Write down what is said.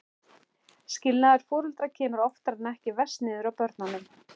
Skilnaður foreldra kemur oftar en ekki verst niður á börnunum.